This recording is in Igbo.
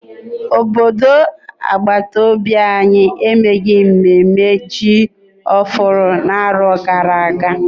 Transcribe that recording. Obodo agbataobi anyị emeghị mnemme ji ọhụrụ n'afọ gara aga.